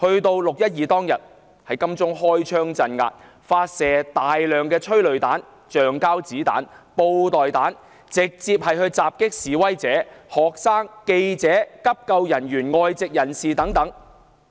至"六一二"當天，警方在金鐘開槍鎮壓，發射大量催淚彈、橡膠子彈、布袋彈，直接攻擊示威者、學生、記者、急救人員、外籍人士等。